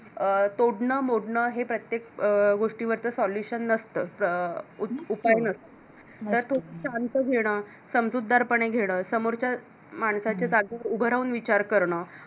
अं तोडण मोडणे हे प्रत्येक अं गोष्टीवरच Solution नसतं, उपाय नसतो, तर तो शांत घेणं समजूतदारपणे घेणं समोरच्या माणसाच्या जागेवर उभं राहून विचार करण.